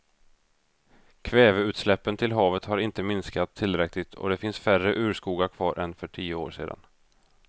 Kväveutsläppen till havet har inte minskat tillräckligt och det finns färre urskogar kvar än för tio år sedan.